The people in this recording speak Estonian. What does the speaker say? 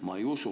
Ma ei usu.